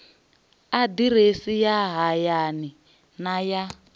aḓirese ya hayani na ya